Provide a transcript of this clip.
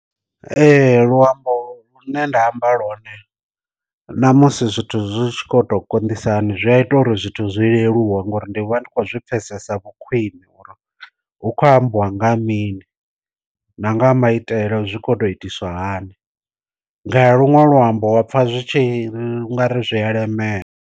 Ee luambo lu ne nda amba lone ṋamusi zwithu zwi tshi kho to konḓisa hani zwi a ita uri zwithu zwi leluwa ngori ndi vha ndi khou zwi pfesesa vhu khwine uri hu kho ambiwa nga mini na nga maitele zwi kho to itiswa hani, nga ya luṅwe luambo wapfa zwi tshi ngari zwi ya lemela.